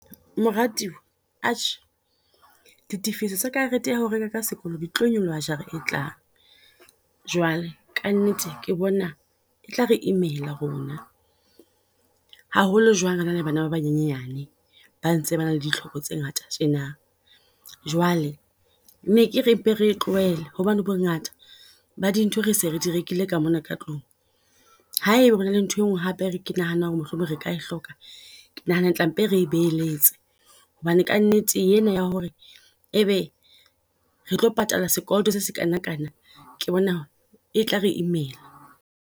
Moratuwa atjhe, di tifiso tsa karete ya hao reka ka sekolo di tlo nyoloha jara e tlang, jwale ka nnete ke bona e tla re imela rona. Haholo jwang re na le bana ba banyenyane ba ntse ba na le ditlhoko tse ngata tjena. Jwale ne ke re mpe re e tlohele hobane bongata ba dintho re se re di rekile ka mona ka tlung. Ha e ba hona le nthwe ngwe hape re ke nahanang ho re mohlomong re ka e hloka. Ke nahana tla mpe re e beheletse. Hobane ka nnete e na ya ho re e be re tlo patala sekoloto se seskana kana, ke bona e tla re imela.